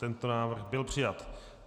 Tento návrh byl přijat.